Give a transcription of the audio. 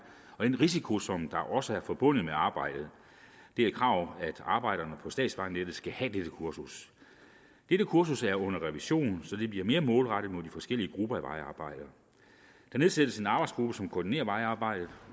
og den risiko som også er forbundet med arbejdet det er et krav at arbejderne på statsvejnettet skal have dette kursus dette kursus er under revision så det bliver mere målrettet de forskellige grupper af vejarbejdere der nedsættes en arbejdsgruppe som koordinerer vejarbejdet